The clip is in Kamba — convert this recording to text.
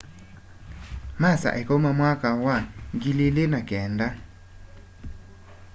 masa ikaũma mwaka wa 2009